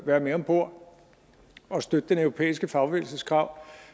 være med om bord og støtte den europæiske fagbevægelses krav